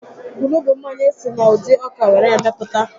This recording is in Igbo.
Kwunu bụ mmanya esi na ụdị ọka were mepụta